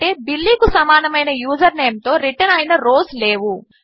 ఎందుకంటే బిల్లీ కు సమానమైన యూజర్ నేంతో రిటర్న్ అయిన రోస్ లేవు